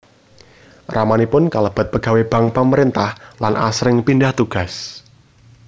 Ramanipun kalebet pegawé bank pamerintah lan asring pindah tugas